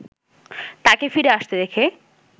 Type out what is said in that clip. তাকে ফিরে আসতে দেখে